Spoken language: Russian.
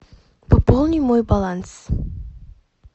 пополни мой баланс